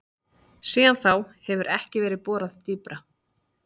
Síðan þá hefur ekki verið borað dýpra.